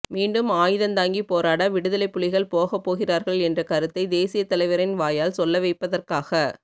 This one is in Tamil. மீண்டும் ஆயுதந்தாங்கி போராட விடுதலைப்புலிகள் போகபோகிறார்கள் என்ற கருத்தை தேசியதலைவரின் வாயால் சொல்ல வைப்பதற்காக